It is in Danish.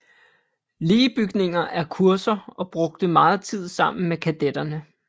Lee bygninger og kurser og brugte meget tid sammen med kadetterne